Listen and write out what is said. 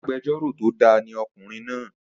Agbẹjórò tó da ni ọkùnrin náà